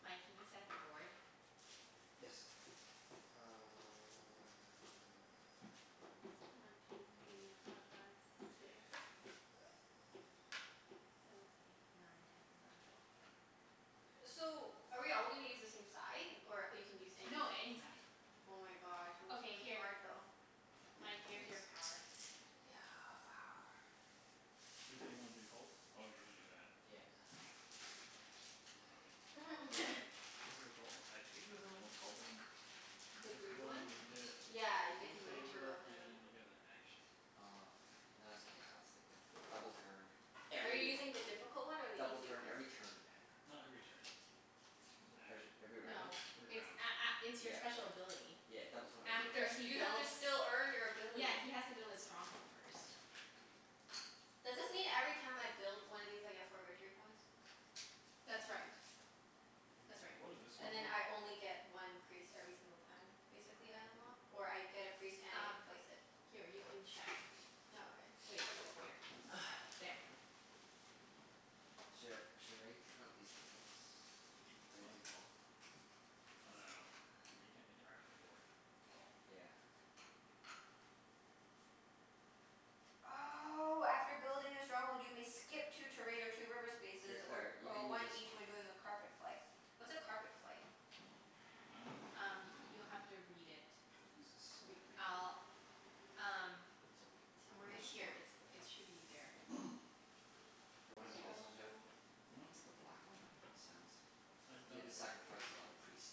Mike, can you set up your board? Yes. Uh One two three four five six. Seven eight nine ten eleven twelve. So, are we all gonna use the same side, or you can use No, anything? any side. Oh my gosh, it looks Okay, really here. hard though. Mike, here's your power. Thanks. Yeah, power. You said you wanted to be the cults? Oh, you wanna do that. Yeah. Or is Mm. that the This is a cult o- I think this a cult one? The This green one? one, you Oh. get Yeah, you get one to move two favor Oh. and you get a action. Oh, okay. No, it's okay, I'll stick with the double turn, Are you every, using the difficult one or the double easy turn one? every turn. Not every turn. It's an Every action. every No. round? Every It's round. a- a- it's your Yeah. special ability. Yeah, double turn You every have to After s- he you round. have to builds, still earn your ability. yeah, he has to build his stronghold first. Does this mean every time I build one of these I get four victory points? That's right. That's right. What does this one And then mean? I only get one priest every single time, basically, I unlock? Or I get a priest and I get Um, to place it? here you can check Oh, okay. Wait. Here. There. Sh- should I take out these tables? Are they What? too tall? I dunno. We can't interact with the board. That's all. Yeah. Oh, after building the stronghold you may skip two terrain or two river Hey spaces, or Claire, you or can use one this one. each when doing a carpet flight. What's a carpet flight? I dunno. Um you'll have to read it. We'll use this Re- over here. I'll, um So we can Somewhere in touch it's the here? here. board It's, over there. it should be there. Do you wanna It's be this one, Jeff? also Hmm? The black one? He sounds I've You have done to it before. sacrifice a lot of priests.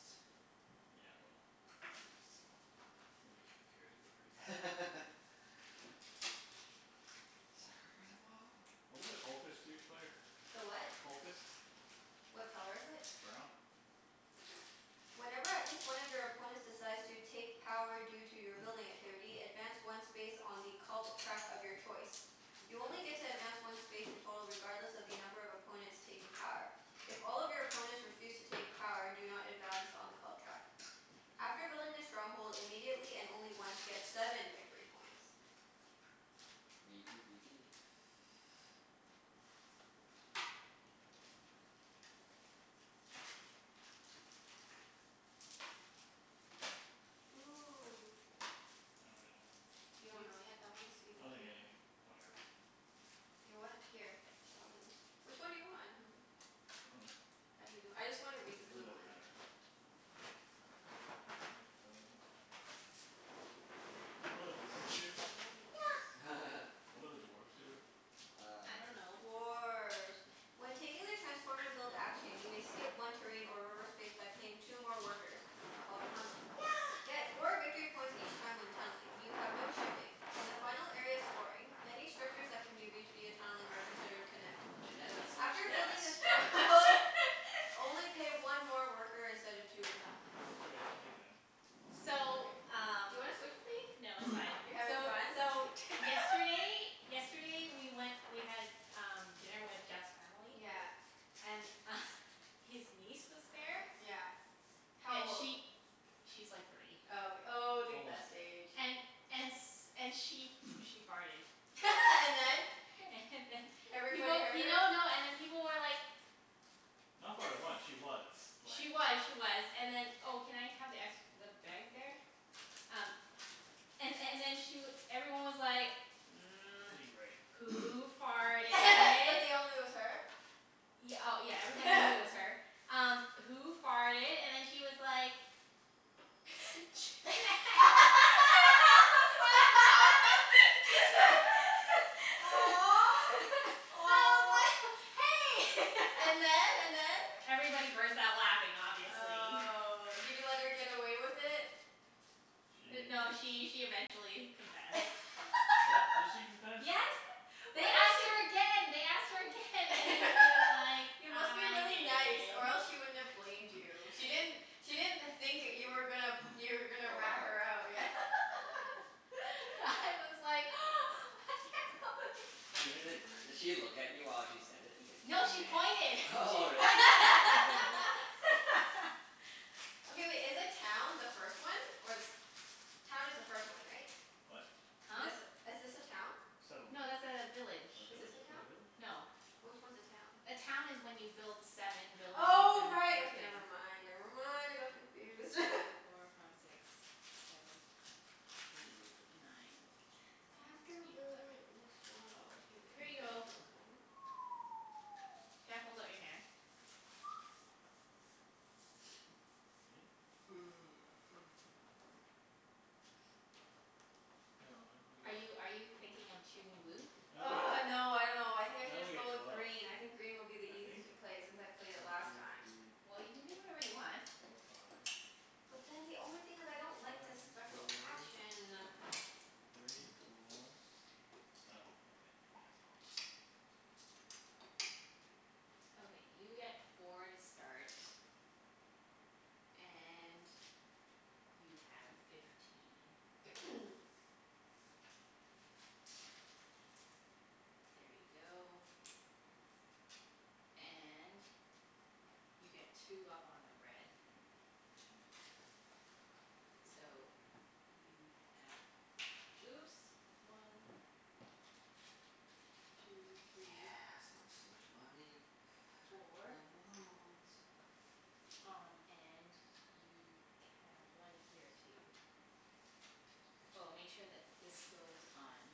Yeah, well, the priests. Nobody giv- cares about the priests. Sacrifice them all. What do the cultists do, Claire? The what? Cultists? What color is it? Brown. Whenever at least one of your opponents decides to take power due to your building activity, advance one space on the cult track of your choice. You only get to advance one space in total regardless of the number of opponents taking power. If all of your opponents refuse to take power do not advance on the cult track. I After see. building the stronghold immediately, and only once, get seven victory points. v p b p. Ooh. I don't really know. You don't You know yet? I wanna see the I'll take green anything. Whatever. You what? Here. I'll let you, which one do you want? I dunno. I dunno. I just wanna read the It really blue doesn't one. matter. It doesn't matter. What do dwarves do? Yeah. What do the dwarves do? I Uh dunno. Dwarf. When taking the transform and build action you may skip one terrain or reverse space by paying two more workers. Called tunneling. Yeah. Get four victory points each time when tunneling. You have no shipping. In the final area of scoring, any structures that can be reached via tunneling are considered connect. Junette, that's so much After gas. building a strong hold, only pay one more worker instead of two when tunneling. Okay. I'll take them. We'll see. So, Mkay. Do you um wanna switch with me? No, You're it's fine. having So fun? so yesterday Yesterday we went, we had um dinner with Jeff's family. Yeah. And his niece was there. Yeah. How And old? she, she's like three. Oh, ok- oh, the Almost best three. age. And and s- and she she farted. And then? And then Everybody People, heard her? no no, and then people were like Not farted once. She was, like She was, she was. And then Oh, can I have the ex- the bag there? Um and and then she w- everyone I need was gray. like, "Who But they farted?" all knew it was her? Y- oh, yeah, everyone knew Everybody. it was her. Um "Who farted?" and then she was like I was like, Aw. Aw. "Hey!" And then? And then? Everybody burst out laughing, obviously. Oh. Did you let her get away with it? D- no, She she she eventually confessed. What? Did she confess? Yes. Why They do asked her pe- again, they asked her again and then she was like, You must be "I really did." nice or else she wouldn't have blamed you. She didn't, she didn't think that you were gonna, you were gonna Call her rat out? her out. Yeah. I was like Di- the di- did grays. she look at you while she said it? It's like, No, she pointed. She "Junette." Really? pointed at me. Okay wait, is the town the first one, or the se- Town is the first one, right? What? Huh? This, is this a town? Settlement. No, that's a village. Or Is this village? a Is town? it village? No. Which one's a town? A town is when you build seven buildings Oh, and right. Okay, never I mind, never never mind. want I to go got confused. through four five six seven eight nine After ten eleven building the strongholds you twelve. can Here you a go. token. Jeff, hold out your hand. Fifteen? No, I only get Are you are you thinking of choosing blue? I only get, Argh, no, I dunno. I think I I should only just get go with twelve. green. I think green will be the I think. easiest to play, since I played it One last two time. Well, you can do whatever three you want. four five. But then the only thing is I don't like the One special two action. three four, oh okay. Yeah, twelve. Okay, you get four to start. And you have fifteen. There you go. And you get two up on the red. So, you have, oops. One. Two three. Yeah, start with so much money. Four. Um and you can, one here too. K. Oh, make sure that this goes on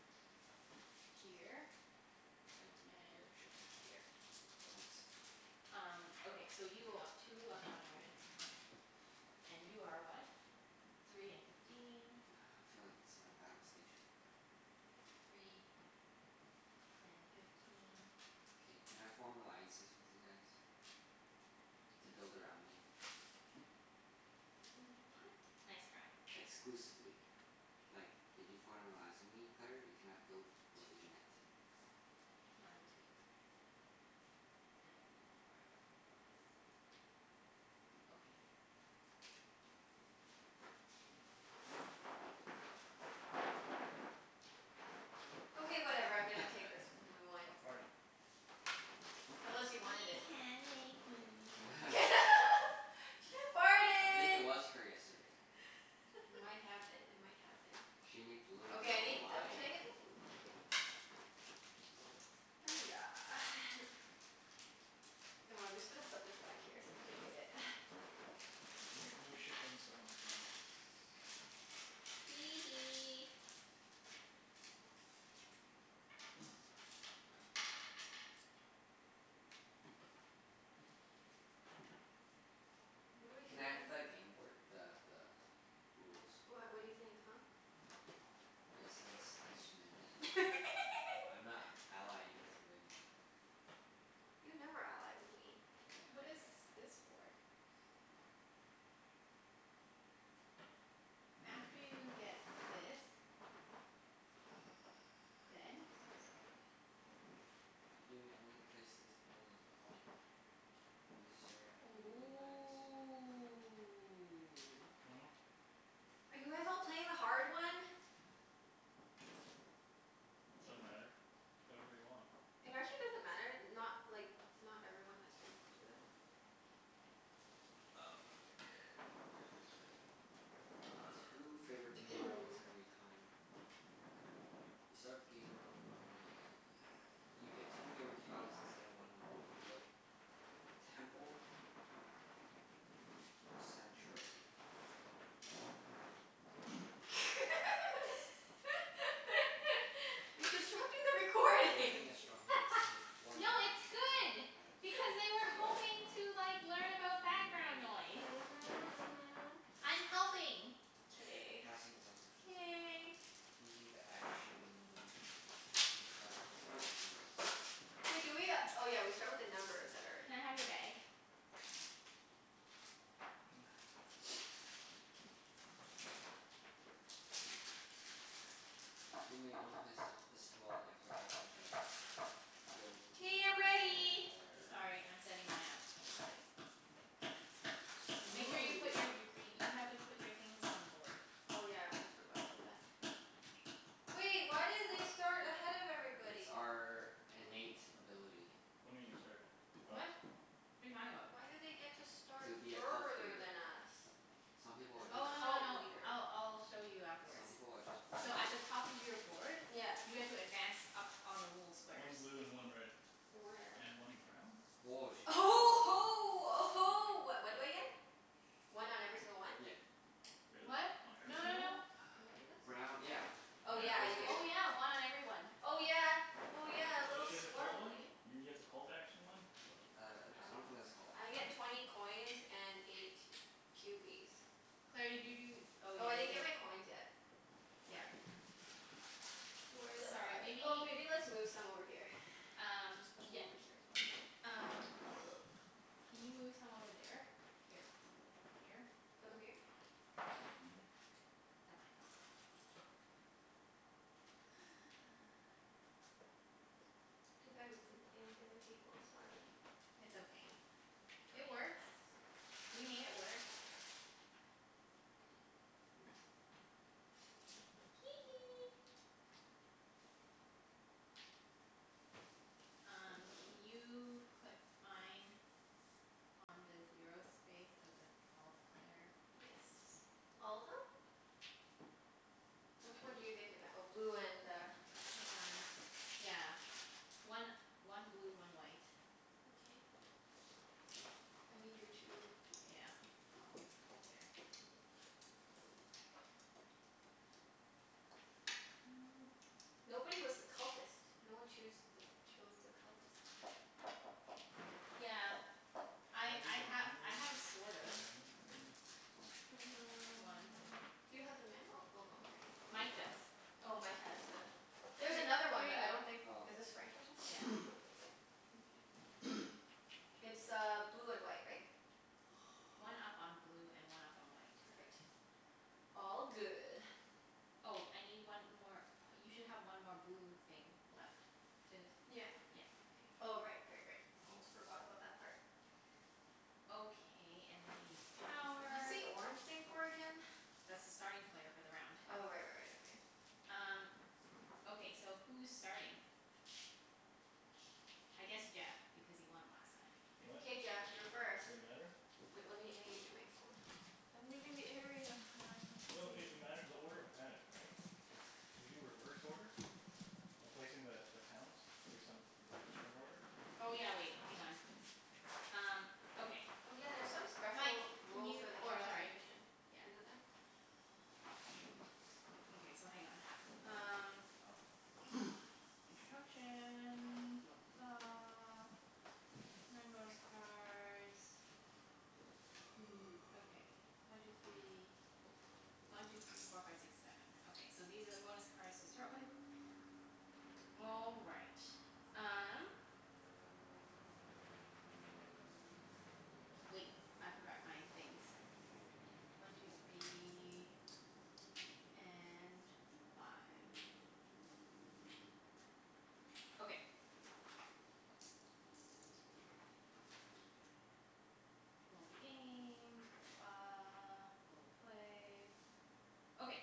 here. And And here. Shipping here. here. Cool, thanks. Um, okay. So you go up two up on the red. And you are what? Three and fifteen. I feel like this is my battle station. Three and fifteen. K, can I form alliances with you guys to build around me? Mm, what? Nice try. Exclusively. Like, if you form an alliance with me, Claire, you cannot build with Two Junette. more. One two. And I need one more for this. Okay. Okay, whatever. I'm gonna take this blue one. Stop farting. Unless you wanted You it? can't make me. She I think it farted. was her yesterday. It might have been. It might have been. She made the little Okay, I girl need the, lie. can I get the blue p- Oh yeah. Oh, I'm just gonna put this back here so you can read it. And I get no shipping, so I don't actually need this. Hee hee. What do I do Can I have again? the gameboard, the the rules? What, what do you think, huh? Yes, thanks thanks Junette. I'm not allying with you anymore, Claire. You never ally with me. Yeah, I What is this for? After you get this six, go Then? again. You may only place this dwelling after all players necessary after nomads. Ooh. Hmm? Are you guys all playing the hard one? Doesn't matter. Play whatever you want. It actually doesn't matter. Not, like not everyone has to do that. Oh. I get two favorite tiles every time. You start the game when dwelling You get two favorite tiles instead of one when you build temple or sanctuary. You're disrupting the If you're recording. building a stronghold No, take one action it's good token as a because they were hoping special to like learn You may about background take noise. the Mhm, mhm. I'm helping. K. Passing is also considered K. Using the action to keep track of using the special Wait do we uh, oh yeah, we start with the numbers that are Can I in have your bag? You may only place th- this dwelling after all players have built all K, I'm ready. theirs. Sorry, I'm setting mine up. Okay. Make Ooh, sure you you're put gonna be your, you green. have Hmm? to put your things on the board. Oh yeah, I almost forgot about that. Wait, why do they start ahead of It's everybody? our innate ability. What do you mean you start? Oh. What? What are you talking about? Why do they get to start To be a cult further leader. than us? Some people As are a just Oh, no no cult no. leader. I'll I'll show you Some afterwards. people are just born So at the better. top of your board Yeah. you guys will advance up on the little One squares. blue and one red. Where? And one brown? Woah, she Uh gets huh oh huh ho uh ho. What what do I get? One on every single one? Yep. Really? What? On every No no single one? no. Brown, yeah. Oh yeah, Yeah. Cuz I this. do. Oh, yeah. One on every one. Oh yeah, oh yeah. A Oh, little she has a cult one? swarmling. You get the cult action one? Wow, Uh I I I interesting. don't think dunno. that's called I get twenty coins and eight cubies. Claire, did you do oh, Oh, yeah, I you didn't get gave my coins yet. Yeah. Sorry. Where the Sorry, f- maybe oh, maybe let's move some over here. Um, Just put some yeah. over here or C- something. um Can you move some over there? Here. Here? Put them here? Yeah. That might help. Too bad we couldn't play on the other table. Sorry. It's okay. Twenty It coins. works. We made it work. Oops. Hee hee. Um can you put mine on the zero space of the cult, Claire? Yes. All of them? Which one do you get to v- oh, blue and uh Hang on. Yeah. One one blue, one white. Mkay. I need your two Yeah. I'll put it there. Just a second. Nobody was the cultist. No one choose th- chose the cultist. Yeah. I Can I read I the ha- manual again? The manual I thing? have sort of. One. Mm. Do you have the manual? Oh no, here it is. Mike does. Oh, Oh, Mike? Mike has the, H- there's another one but I here don't you go. think, Oh. is this French or something? Yeah. Oh. Mkay. It's uh blue and white, right? One up on blue and one up on white. Perfect. All good. Oh, I need one more, you should have one more blue thing left. Did, Yeah. yeah, okay. Oh Good. right, right, right. Almost forgot about that part. Okay, and then I need What's power. the orange thing for again? That's the starting player for the round. Oh right, right, right. Okay. Um, okay so who's starting? I guess Jeff, because he won last time. What? K Jeff, you're first. Does it matter? Wait, let me, I need to get my phone. I'm leaving the area. One No it two it mat- the order matters, right? Cuz do we do reverse order by placing the the towns return order? Oh yeah, wait. Hang on. Um okay. Oh yeah, there's some Mike, special can rule you, for the oh, chaos sorry. magician. Yeah. Isn't there? Okay, so hang on. Um Oh. Instructions. Blah blah blah. Okay, one two three One two three four five six seven. Okay, so these are the bonus cards to start with. All right. Um Wait, I forgot my things. One two three And five. Five five. Okay. All the game. Blah, blah, blah. All the play. Okay.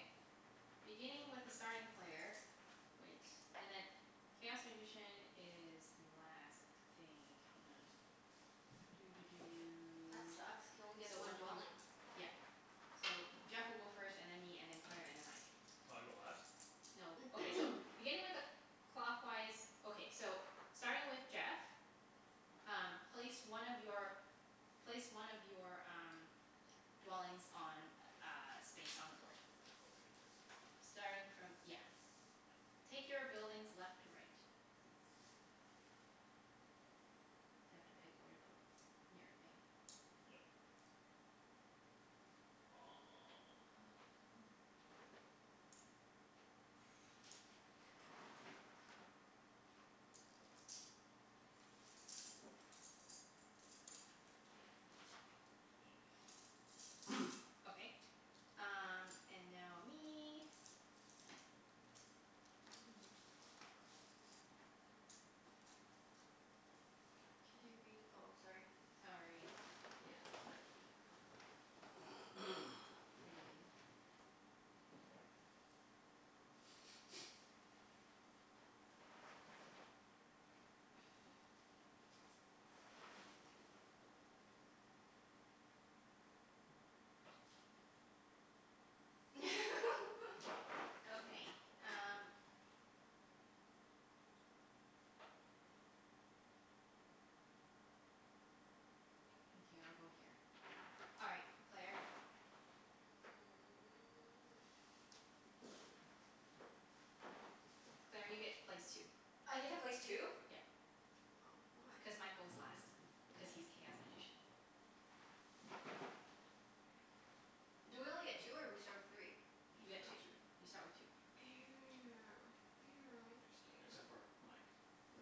Beginning with the starting player Wait. And then, chaos magician is last, I think. Hang on. Doo doo That doo. sucks. Can only get So one one two three four dwelling. Yep. So Jeff will go first, and then me, and then Claire, and then Mike. So I go last? No, okay, Or so. Beginning with a cl- clockwise Okay, so starting with Jeff Um place one of your, place one of your um dwellings on a space on the board. Okay. Starting from, yeah. Take your buildings left to right. You have to pick where to put your thing. Yep. Oh yeah, Um hmm. Okay. Um and now me. Can I read, oh, sorry. Sorry. Yeah, it's okay. Green. Okay, um Okay, I'll go here. All right, Claire. Claire, you get to place two. I get to place two? Yep. Oh. Why? Cuz Mike goes last, cuz he's chaos magician. Do we only get two or we start with three? You You get two. start two. You start with two. Except Interesting. for Mike.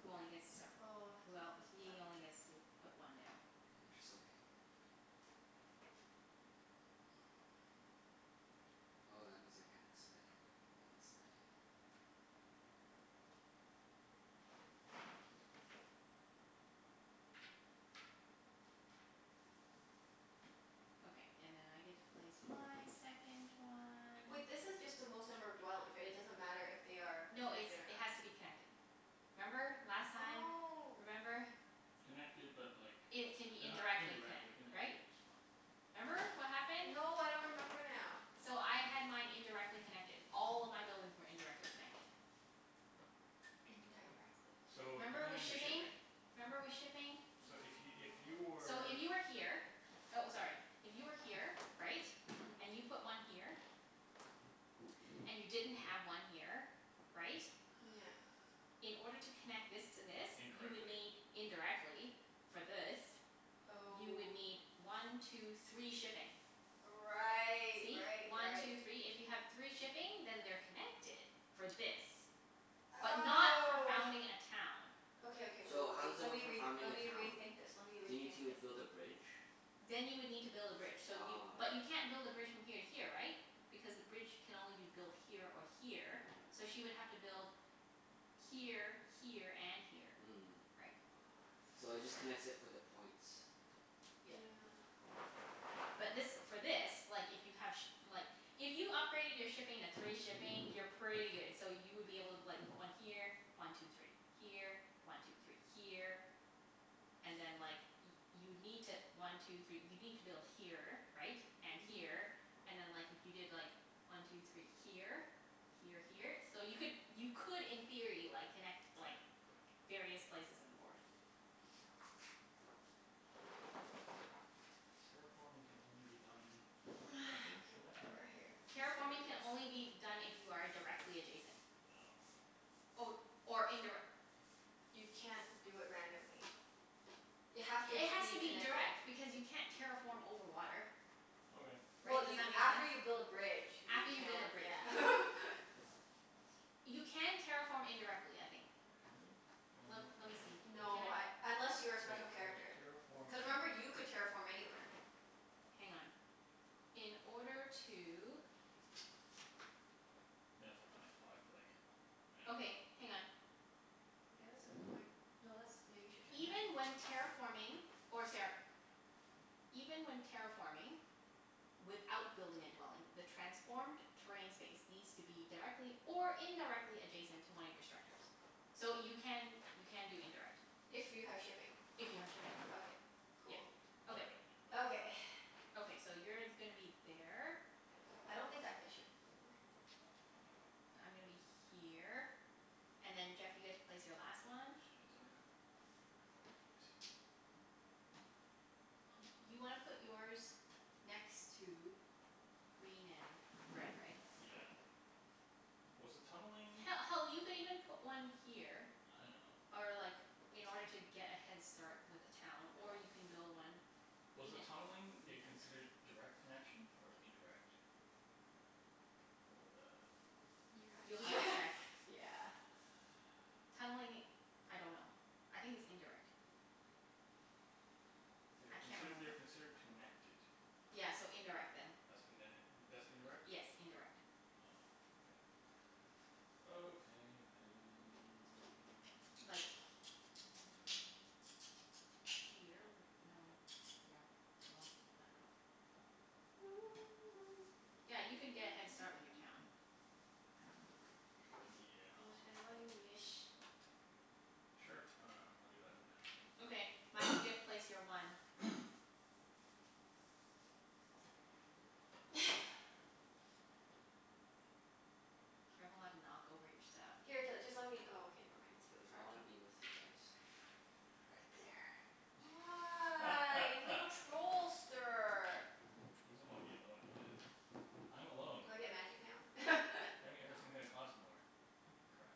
Who only gets to start, Oh, well, this is tough. he only gets to put one down. Which is okay. Oh, that means I can't expand unless I Okay, and then I get to place my second one. Wait, this is just the most number of dwellings, right? It doesn't matter if they are No, it's, connected or it not. has to be connected. Remember, last time? Oh. Remember? Connected but like they It can be h- indirectly indirectly connect- connected right? is fine. Remember what happened? No, I don't remember now. So I had mine indirectly connected. All of my buildings were indirectly connected. Indirectly. So, Remember depending with on your shipping? shipping. Remember with shipping? So if y- if you So were if you were here, oh, sorry. If you were here, right? Mhm. And you put one here. And you didn't have one here, right? Yeah. In order to connect this to this, you would Indirectly. need, indirectly for this You would Oh. need one two three shipping. Right, See? right, One right. two three. If you have three shipping then they're connected for this. But not for Oh. founding a town. Okay, okay. Wait, wait, So, how wait. does it Let work me for re- founding let a me town? rethink this. Let me Do you need rethink to this. build a bridge? Then you would need to build a bridge. So you, Ah, but okay. you can't build a bridge from here to here, right? Because the bridge can only be built here or here, so she would have to build here, here, and here. Mm. Right? So it just connects it for the points. Yeah. Yeah. But this, for this, like if you have shi- like If you upgraded your shipping to three shipping, you're pretty good. So you would be able to like put one here. One two three. Here. One two three. Here. And then like y- you'd need to, one two three, you'd need to build here, right? And Mhm. here. And then like, if you did like, one two three here? Here, here. So you could, you could in theory like, connect like various places in the board. Terraforming can only be done directly Okay, connected? whatever. Here, I'm Terraforming just can gonna do only be this. done if you are a- directly adjacent. No. Or, or indirec- You can't do it randomly. You have to It has be to be connected. direct because you can't terraform over water. Okay. Well Right? Does you, that make after sense? you build a bridge you After you build a can, bridge, yeah. yeah. You can terraform indirectly, I think. Can you? Let let me see. Can No, I, I unless Just you're a wait, special okay, character. terraform Cuz remember, you could terraform anywhere. Hang on. In order to Might affect my how I play. I don't Okay, know. hang on. Yeah, that's a good point. No, that's, yeah, you should check that. Even when terraforming or sara- Even when terraforming without building a dwelling the transformed terrain space needs to be directly or indirectly adjacent to one of your structures. So you can, you can do indirect. If you have shipping. If you have shipping, Okay. yeah. Cool. Which I Okay. don't. Okay. Okay. Okay, so you're gonna be there. I don't think I get shipping for the I'm gonna be here, and then Jeff you get to place your last one. Shit. Yeah. I don't know where to put it. Y- you wanna put yours next to green and red, right? Yeah. Was the tunneling He- hell, you could even put one here I know. or like, in order to get a head start with a town. Or you can build one Was Green the tunneling it considered direct connection or indirect? For the You have You'll have to to check. yeah. Tunneling, I dunno. I think it's indirect. They I are can't consid- they are remember. considered connected. Yeah, so indirect then. That's indin- that's Yes, indirect? indirect. Oh, okay. Okay then. Like mm Here would, no, yeah. Well, I dunno. Yeah, you could get a head start with your town. Yeah. Whatever you Probably. wish. Sure. I dunno. I'll do that for now. Okay. Mike, you get to place your one. Careful not to Oh. knock over your stuff. Here t- just let me, oh, okay, never mind. It's really I hard wanna to be with you guys. Right there. Ah, you little trollster. He doesn't want to be alone, I guess. I'm alone. Do I get magic now? That mean No. everything's gonna cost more. Crap.